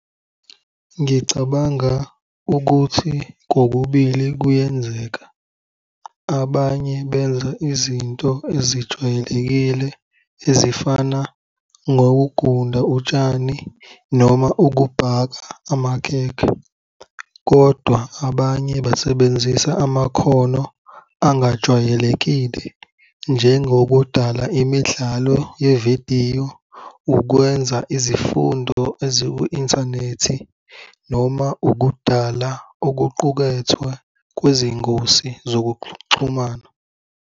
Ngicabanga ukuthi kokubili kuyenzeka. Abanye benza izinto ezijwayelekile ezifana nokugunda utshani noma ukubhaka amakhekhe kodwa abanye basebenzisa amakhono angajwayelekile, njengokudala imidlalo yevidiyo, ukwenza izifundo eziku-inthanethi noma ukudala okuqukethwe kwezingosi zokuxhumana.